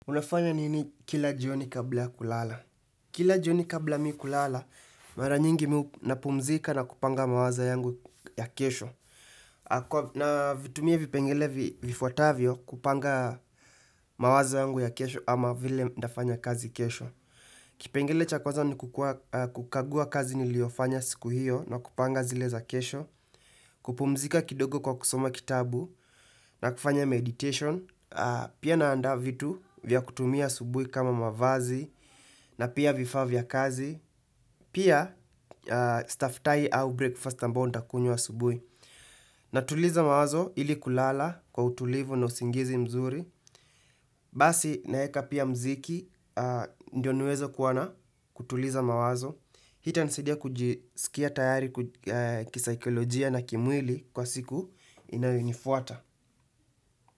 Unafanya nini kila jioni kabla ya kulala? Kila jioni kabla mimi kulala, mara nyingi napumzika na kupanga mawaza yangu ya kesho. Navitumia vipengele vifuatavyo kupanga mawaza yangu ya kesho ama vile nafanya kazi kesho. Kipengele cha kwaza ni kukagua kazi niliofanya siku hiyo na kupanga zile za kesho. Kupumzika kidogo kwa kusoma kitabu na kufanya meditation. Pia naanda vitu vya kutumia subuhi kama mavazi na pia vifaa vya kazi Pia staftahi au breakfast ambayo nitakunywa asubuhi Natuliza mawazo ili kulala kwa utulivu na usingizi mzuri Basi naeka pia mziki ndio niwezo kuwa na kutuliza mawazo Hii itanisaidia kujisikia tayari kisaikolojia na kimwili kwa siku inayonifuata.